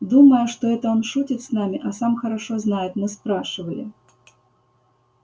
думая что он это шутит с нами а сам хорошо знает мы спрашивали